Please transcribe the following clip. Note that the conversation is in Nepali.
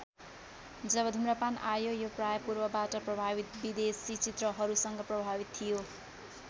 जब धूम्रपान आयो यो प्रायः पूर्वबाट ‍प्रभावित विदेशी चित्रहरूसँग प्रभावित थियो।